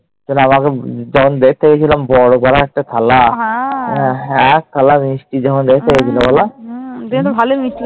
আমাকে যখন দেখতে গেছিল, বড় পারা একটা থালা, এক থালা মিষ্টি যখন দেখতে গেছিল বলো?